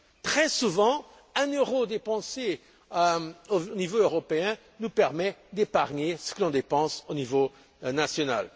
Très souvent, un euro dépensé au niveau européen nous permet d'épargner ce que l'on dépense au niveau national.